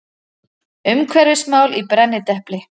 Umhverfismál í brennidepli.